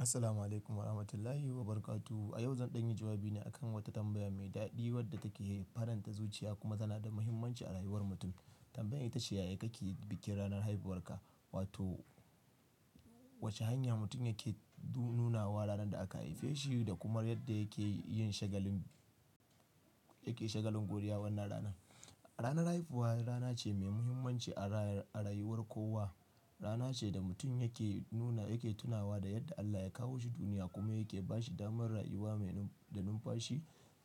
Assalamu alaikum wa rahmatullahi wa barakatuh. A yau zan ɗanyi jawabi ne akan wata tambaya mai daɗi wadda take faranta zuciya kuma tana da muhimmanci a rayuwar mutum. Tambayan ita ce, "Ya kakki bikin ranar haifuwarka?" Wato wace hanya mutum yake du-nuna wa ranar da aka haife shi da kuma yadda yake yin shagalin, yake shagalin godiya wannan rana. Ranar haifuwa rana ce mai muhimmanci a ray-a rayuwar kowa. Rana ce da mutum yake nuna, yake tunawa da yadda Allah ya kawo shi duniya kuma yake ba shi damar rayuwa mai num-da numfashi,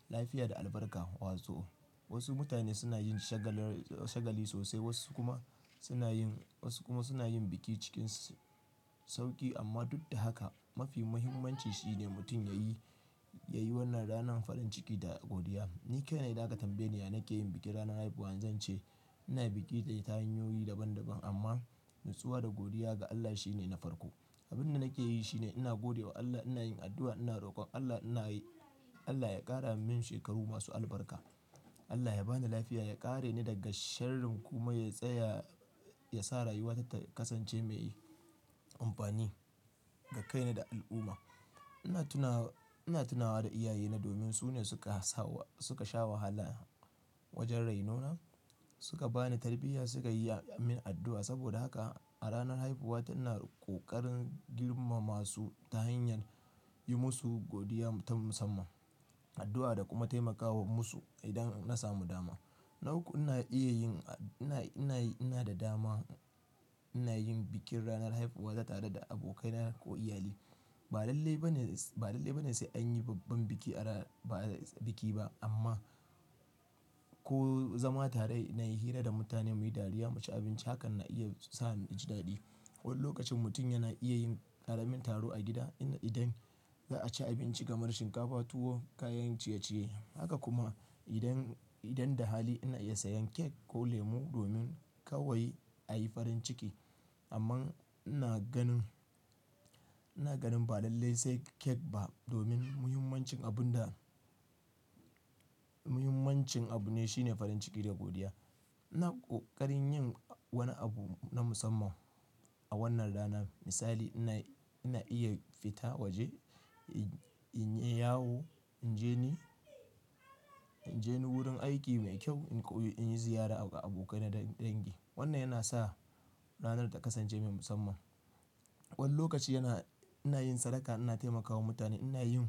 lafiya da albarka. Wato wasu mutane suna yin shagali-shagali sosai, wasu kuma suna yin, wasu kuma suna yin biki cikin sauƙi. Amma duk da haka mafi muhimmanci shi ne mutum yayi, yayi wannan ranan farin ciki da godiya. Ni kai ne idan aka tambaye ni yana ke yin biki ranar haifuwana, zan ce ina biki ta hanyoyi daban daban amma nutsuwa da godiya ga Allah shi ne na farko. Abin da nake yi shi ne ina gode wa Allah, ina yin addu'a, ina rokon Allah, ina yi Allah ya ƙara min shekaru masu albarka. Allah ya bani lafiya, ya ƙare ni daga sharrin kuma ya tsaya, ya sa rayuwata ta kasance mai amfani ga kaina da al'umma. Ina tuna, ina tunawa da iyayena domin su ne suka sawo, suka sha wahala wajen rainona, suka bani tarbiyya, suka yi amin addu'a. Saboda haka a ranar haifuwata ina ƙoƙarin girmama su ta hanyar yi musu godiya ta musamman, addu'a da kuma taimakawa musu idan na samu dama. Na uku ina iya yin, ina, ina, ina da dama ina yin bikin ranar haifuwa ta tare da abokaina ko iyalai. Ba lalle ba ne, ba lalle ba ne sai an yi babban biki a ra-- ba biki ba amma ko zama tare na yi hira da mutane muyi dariya, mu ci abinci, hakan na iya sa ni ji daɗi. Wani lokacin mutum yana iya yin ƙaramin taro a gida ina idan za'a ci abinci kamar shinkafa, tuwo, kayan ciye-ciye. Haka kuma idan, idan da hali ina iya sayan kek ko lemu domin kawai a yi farin ciki. Amma ina ganin, ina ganin ba lalle sai kek ba domin muhimmancin abun da, muhimmancin abu ne shi ne farin ciki da godiya. Ina ƙoƙarin yin wani abu na musamman a wannan rana. Misali ina, ina iya fita waje, in yi yawo, in je ni, in je ni wurin aiki mai kyau, in koyi, in yi ziyara ga abokaina dangi. Wannan yana sa ranar ta kasance mai musamman. Wani lokaci yana, ina yin sadaka, ina taimakawa mutane, ina yin,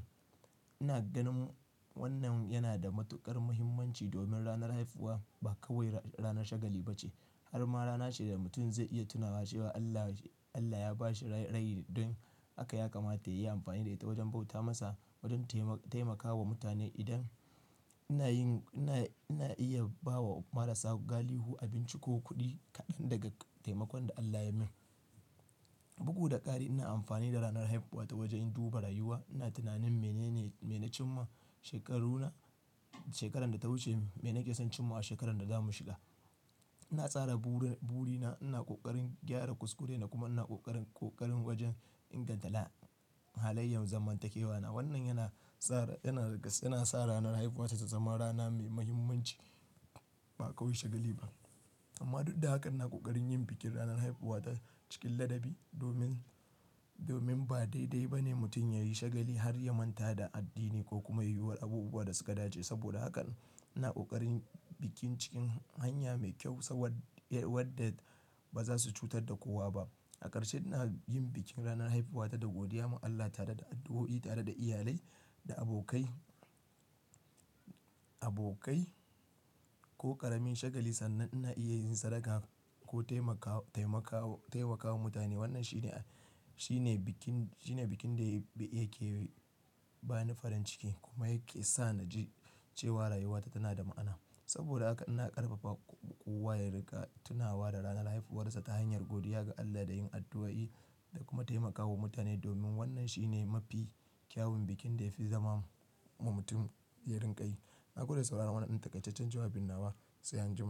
ina ganin wannan yana da matuƙar muhimmanci domin ranar haifuwa ba kawai rana shagali bace. Harma rana ce da mutum zai iya tunawa cewa Allah, Allah ya ba shi rai, rai don haka ya kamata ya yi amfani da ita wajen bauta masa, wajen tema-taimakawa mutane. Idan ina yin, ina, ina iya ba wa marasa galihu abinci ko kuɗi kaɗan daga taimakon da Allah ya min. Bugu da ƙari ina amfani da ranar haifuwata wajen duba rayuwa. Ina tunanin mene ne, mene cin ma shekaruna, shekarar da ta wuce, mene nake son cim ma a shekarar da zamu shiga. Ina tsara buri-burina, ina ƙoƙarin gyara kuskurena kuma ina ƙoƙarin, ƙoƙarin wajen ingantala halayen zamantakewana. Wannan yana tsara, yana rigas, yana sa ranar haifuwata ta zama rana mai muhimmanci, ba kawai shagali ba. Amma duk da haka ina ƙoƙarin yin bikin ranar haifuwata cikin ladabi domin, domin ba daidai ba ne mutum yayi shagali har ya manta da addini ko kuma yi wa abubuwa da suka dace. Saboda hakan ina ƙoƙarin bikin cikin hanya mai kyau sabid, wadda ba za su cutar da kowa ba. A ƙarshe ina yin bikin ranar haifuwata da godiya ma Allah tare da addu'o'i, tare da iyalai, da abokai, abokai ko ƙaramin shagali sannan ina iya yin sadaka ko taimakawa, taimakawa, taimakawa mutane. Wannan shine, shine bikin, shine bikin da ya ke ba ni farin ciki kuma yake sa na ji cewa rayuwata tana da ma'ana. Saboda haka ina ƙarfafa kowa ya riga tunawa da ranar haifuwarsa ta hanyar godiya ga Allah da yin addu'o'i da kuma taimakawa mutane domin wannan shi ne mafi kyawun bikin da ya fi zama ma-mutum zai rinƙa yi. Na go de da saurara wannan ɗan takasaccen jawabin nawa, sai an jima.